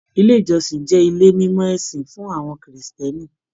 Ilé ìjọsìn jẹ ilé mimọ ìsìn fún àwọn Kírísítẹ́nì.